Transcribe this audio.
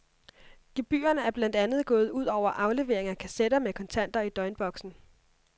Gebyrerne er blandt andet gået ud over aflevering af kassetter med kontanter i døgnboksen.